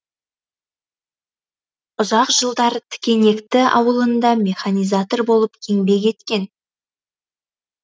ұзақ жылдар тікенекті ауылында механизатор болып еңбек еткен